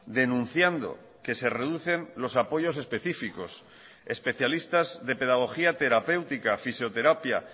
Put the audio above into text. denunciando que se reducen los apoyos específicos especialistas de pedagogía terapéutica fisioterapia